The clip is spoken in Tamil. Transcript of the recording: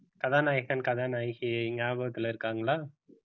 கதாநாயகன் கதாநாயகி ஞாபகத்துல இருக்காங்களா